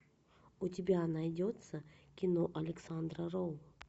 у тебя найдется кино александра роу